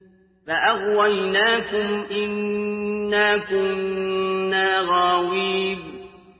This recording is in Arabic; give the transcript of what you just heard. فَأَغْوَيْنَاكُمْ إِنَّا كُنَّا غَاوِينَ